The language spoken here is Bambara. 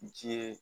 Ji ye